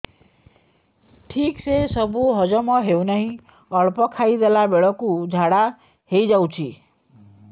ଠିକସେ ସବୁ ହଜମ ହଉନାହିଁ ଅଳ୍ପ ଖାଇ ଦେଲା ବେଳ କୁ ଝାଡା ହେଇଯାଉଛି